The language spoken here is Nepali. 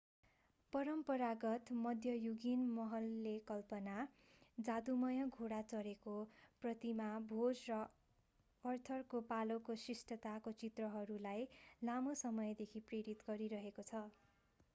परम्परागत मध्ययुगीन महलले कल्पना जादूमय घोडा चढेको प्रतिमा भोज र आर्थरको पालाको शिष्टताको चित्रहरूलाई लामो समयदेखि प्रेरित गरिरहेको छ